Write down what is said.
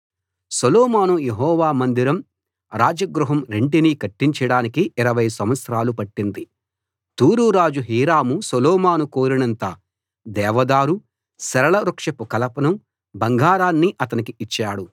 సొలొమోను Jehovah మందిరం రాజగృహం రెంటినీ కట్టించడానికి 20 సంవత్సరాలు పట్టింది తూరు రాజు హీరాము సొలొమోను కోరినంత దేవదారు సరళ వృక్షపు కలపను బంగారాన్నీ అతనికి ఇచ్చాడు